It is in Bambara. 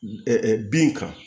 bin kan